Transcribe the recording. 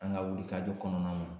An ka wuli kajɔ kɔnɔnaw na